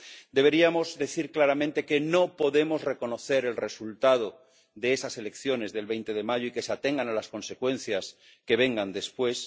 Deberíamos decir claramente que no podemos reconocer el resultado de esas elecciones del 20 de mayo y que se atengan a las consecuencias que vengan después.